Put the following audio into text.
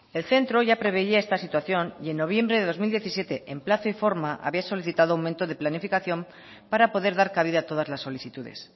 el centro ya preveía esta situación y en noviembre del dos mil diecisiete en plazo y forma había solicitado un aumento de planificación para poder dar cabida a todas las solicitudes